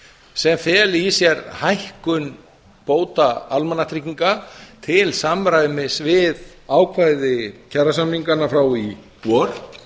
sem feli í sér hækkun bóta almannatrygginga til samræmis við ákvæði kjarasamninganna frá því í vor